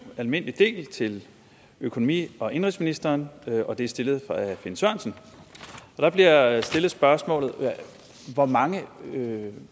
almindelig del til økonomi og indenrigsministeren og det er stillet af finn sørensen og der bliver stillet spørgsmålet hvor mange